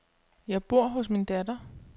Jeg bor hos min datter.